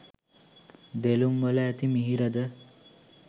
දෙළුම්වල ඇති මිහිරද